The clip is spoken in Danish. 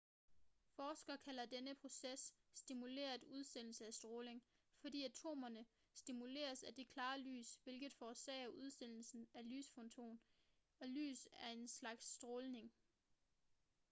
forskere kalder denne proces stimuleret udsendelse af stråling fordi atomerne stimuleres af det klare lys hvilket forårsager udsendelsen af en lysfoton og lys er en slags stråling